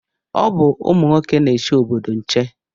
Ọ bụ ụmụ nwoke na-eche obodo nche